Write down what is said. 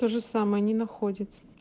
тоже самое не находит